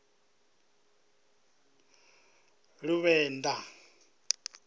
luvenḓa